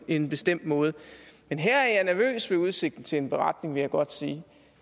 en bestemt måde men her er jeg nervøs ved udsigten til en beretning vil jeg godt sige